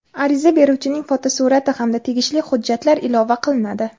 ariza beruvchining fotosurati hamda tegishli hujjatlar ilova qilinadi.